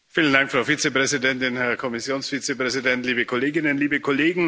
Frau Präsidentin, Herr Kommissionsvizepräsident, liebe Kolleginnen, liebe Kollegen!